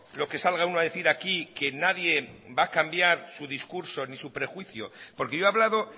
lo que salga uno a decir aquí que nadie va a cambiar su discurso ni su prejuicio porque yo he hablado